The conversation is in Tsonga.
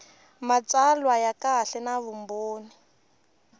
matsalwa ya kahle na vumbhoni